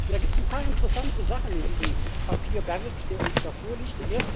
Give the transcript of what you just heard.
Da gibt es ein paar interessante Sachen in diesem Papierberg, der uns da vorliegt.